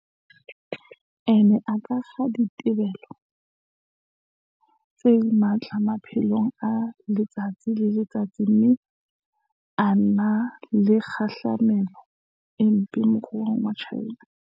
E ne e akga dithibelo tse matla maphelong a letsatsi le letsatsi mme e na le kgahlamelo e mpe moruong wa China.